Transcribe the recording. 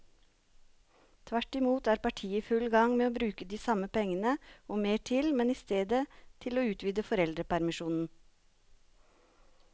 Tvert imot er partiet i full gang med å bruke de samme pengene og mer til, men i stedet til å utvide foreldrepermisjonen.